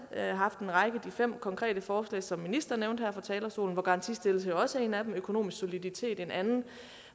haft en række af de fem konkrete forslag som ministeren nævnte her fra talerstolen hvor garantistillelse jo også er en af dem økonomisk soliditet er en anden